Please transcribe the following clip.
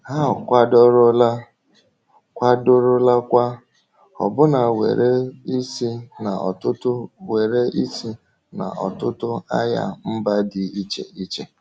Ha akwadorola, kwadorolakwa, ọbụna were isi n’ọtụtụ were isi n’ọtụtụ agha mba dị iche iche.